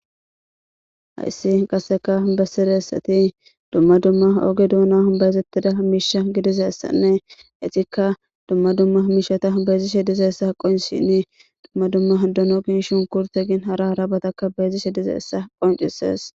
hayssi qasseka bessiressati dumma dumma ooge duuna humbayzettida miisha gidizaessanne ixikka dumma dumma hmiishata humbayzishe dizeyssa qonshhini dumma dumma dono gin shunkurte gin hara harabatakka beezishe dizeessa qoncises.